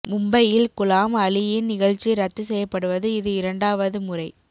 மும்பையில் குலாம் அலியின் நிகழ்ச்சி ரத்து செய்யப்படுவது இது இரண்டாவது முறை